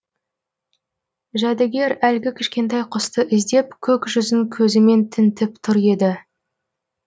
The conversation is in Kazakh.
жәдігер әлгі кішкентай құсты іздеп көк жүзін көзімен тінтіп тұр еді